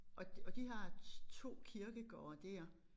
Og og de har 2 kirkegårde dér